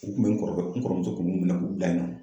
U kun bɛ n kɔrɔkɛ n kɔrɔmuso kun b'u minɛ k'u bila yen nɔ